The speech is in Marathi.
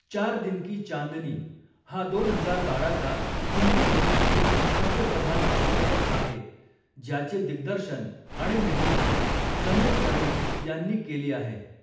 चार दिन की चांदनी' हा दोन हजार बाराचा हिंदी रोमँटिक हास्यप्रधान चित्रपट आहे, ज्याचे दिग्दर्शन आणि निर्मिती समीर कर्णिक यांनी केली आहे.